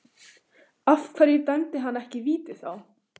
Af hverju dæmdi hann ekki víti þá?